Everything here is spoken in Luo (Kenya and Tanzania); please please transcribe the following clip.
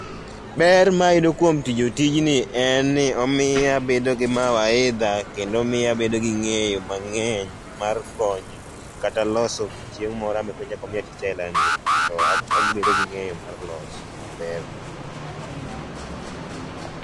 Ber mayudo kuom tiyo tijni en ni omio abedo gi mawaidha kendo omiyo abedo gi ng'eyo mang'eny mar konyo kata loso chieng moro kochak omiya tich aila ni to abedo gi ng'eyo mar loso maber